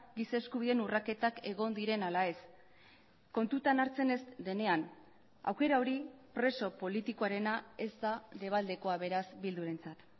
giza eskubideen urraketak egon diren ala ez kontutan hartzen ez denean aukera hori preso politikoarena ez da debaldekoa beraz bildurentzat